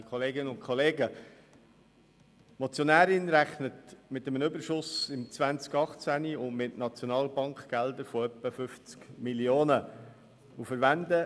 Die Motionärin rechnet mit einem Überschuss im Jahr 2018 und mit SNB-Geldern von etwa 50 Mio. Franken.